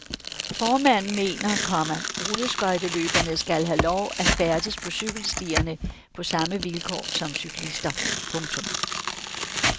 Formanden mener, komma rulleskøjteløberne skal have lov at færdes på cykelstierne på samme vilkår som cyklister. punktum